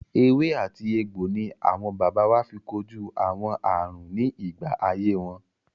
Ewé àti egbò ni àwọn baba wa fi kojú àwọn àrùn ní ìgbà ayé wọn.